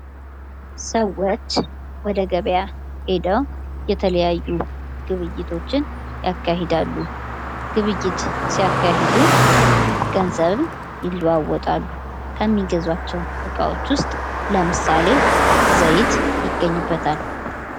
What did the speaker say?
ሰዎች ወደ ገበያ ሄደው የተለያዩ ግብይቶችን ያካሄዳሉ። ግብይት ሲያካሄዱ ገንዘብ ይለዋወጣሉ። ከሚገዟቸው ውስጥ ለምሳሌ ዘይት ይገኝበታል።